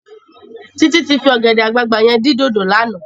Titi ti fi ògèdè àgbágbá yèn din dódó làná